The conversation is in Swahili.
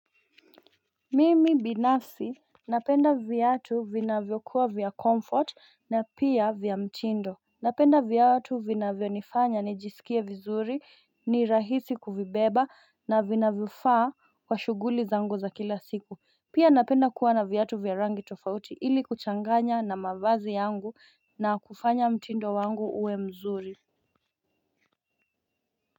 Mimi binafsi napenda viatu vinavyokuwa vya comfort na pia vya mtindo. Napenda viatu vinavy nifanya nijisikie vizuri ni rahisi kuvibeba na vinavyo faa kwa shuguli za ngu za kila siku Pia napenda kuwa na viyatu vya rangi tofauti ili kuchanganya na mabazi yangu na kufanya mtindo wangu uwe mzuri.